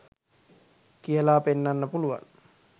කියලා පෙන්නන්න පුළුවන්